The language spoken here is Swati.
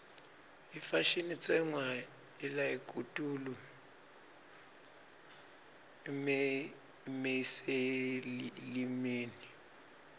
ifashini itsenqwa luakitulu umeyeseyilimi